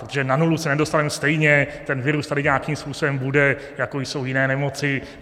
Protože na nulu se nedostaneme stejně, ten virus tady nějakým způsobem bude, jako jsou jiné nemoci.